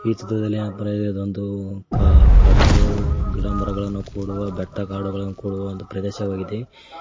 ಈ ಚಿತ್ರದಲ್ಲಿ ಏನಪಾ ಅಂದ್ರೆ ಇದೊಂದು ಮುಖ ಕಂಡು ಗಿಡ ಮರಗಳನ್ನು ಕೂಡುವ ಬೆಟ್ಟ ಕಾಡುಗಳನ್ನು ಕೂಡುವ ಒಂದು ಪ್ರದೇಶವಾಗಿದೆ.